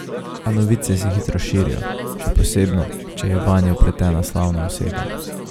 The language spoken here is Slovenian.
A novice se hitro širijo, še posebno, če je vanje vpletena slavna oseba.